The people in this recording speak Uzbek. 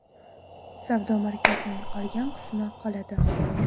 Savdo markazining qolgan qismi qoladi.